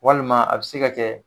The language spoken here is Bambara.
Walima a bɛ se ka kɛ